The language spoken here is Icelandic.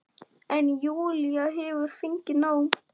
En Júlía hefur fengið nóg.